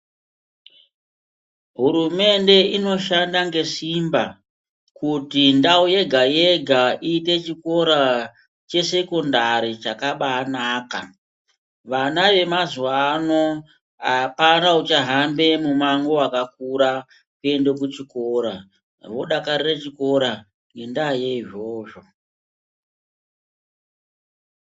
Hurumende inoshanda ngesimba kuti ndau yega-yega iite chikora chesekondari chakabanaka. Vana vemazuwa ano apana uchahambe mumango wakakura kuende kuchikora. Vodakarira chikora ngendaa yeizvozvo.